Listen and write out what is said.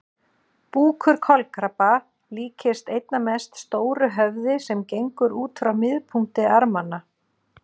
Búkur kolkrabba líkist einna mest stóru höfði sem gengur út frá miðpunkti armanna.